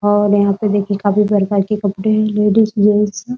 और यहाँ पे देखिए काफी प्रकार के कपड़े हैं लेडीज जेंट्स --